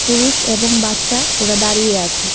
পুরুষ এবং বাচ্চা ওরা দাঁড়িয়ে আছে।